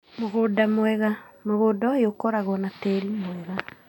Mũgũnda mwega: Mũgũnda ũyũ ũkoragwo na tĩri mwega